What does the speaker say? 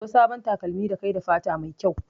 Sayo sabon takalmi da kayi da fata mai kyau